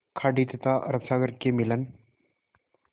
खाड़ी तथा अरब सागर के मिलन